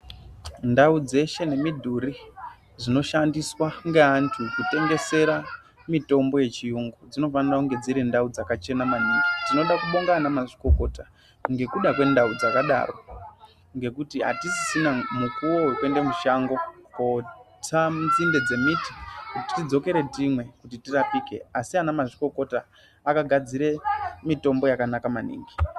Ndau dzeshe nemidhuri zvinoshandiswa ngeantu kutengesera mitombo yechiyungu, dzinofanire kunge dzirindau dzakachena maningi. Tinoda kubonga anamazvikokota ngekuda kwandau dzakadaro ngekuti atisisina mukuwo wekuende mushango kootsa nzinde dzemuti, tidzokere timwe kuti tirapike asi ana mazvikokota akagadzire mitombo yakanaka maningi.